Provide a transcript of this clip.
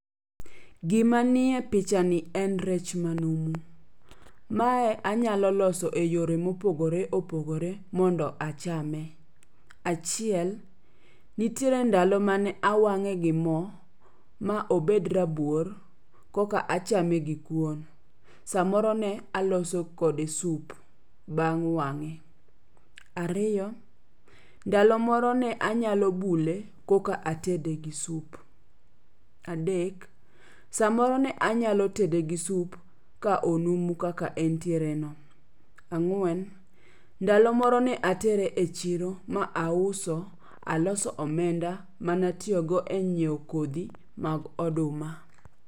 Gima jiye picha ni en rech manumu, mae anyalo loso e yore mopogore opogore mondo achame. Achiel, nitiere ndalo mane awang'e gi mo ma obed rabuor koka achame gi kuon, samoro ne aloso kode sup beng' wang'e. Ariyo, ndalo moro ne anyalo bule koka atede gi sup. Adek, samoro ne anyalo tede gi sup ka onumu kaka entiere no. Ang'wen, ndalo moro ne atere e chiro ma auso, aloso omenda manatiyogo e nyiewo kodhi mag oduma.